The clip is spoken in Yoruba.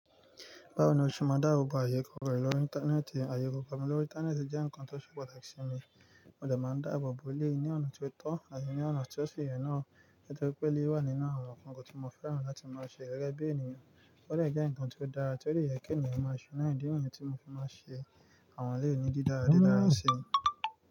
Báwo ni o ṣe máa dá àbọ̀ ayé korò lọ́rí Íńtánẹ́ẹ̀tì? Ayé kokò mi lórí Íńtánẹ́ẹ̀tì jẹ́ nkan tó ṣe pàtàkì sí mi. Mo dẹ̀ máa ń dá àbọ̀ bo eleyi ní ọ̀nà tí ó tọ́ àti ní ọ̀nà tí ó si ye naà. Nítorí pé eléyìí wà nínú àwọn nnkan tí mo fẹ́ràn láti máa ṣe gẹ́gẹ́ bí ènìyàn. Ó dẹ̀ jẹ́ nkan tí ó dára tio de yẹ́ kí ènìyàn máa ṣe náà ìdí niyen tí mo fi máa n ṣe àwọn eleyii ni dídára dídára sí.